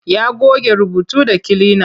Ya goge rubutu da kilina.